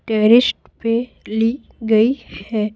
Terrace पे ली गई है।